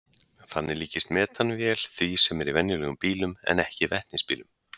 Þannig líkist metanvél því sem er í venjulegum bílum en ekki vetnisbílum.